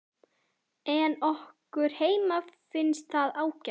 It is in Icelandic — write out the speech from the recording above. En okkur heima finnst það ágætt.